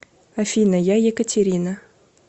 афина я екатерина